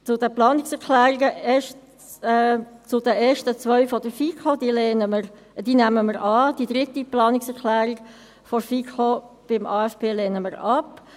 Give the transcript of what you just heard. Zu den Planungserklärungen: Die ersten zwei Planungserklärungen der FiKo nehmen wir an, die dritte Planungserklärung der FiKo zum AFP lehnen wir ab.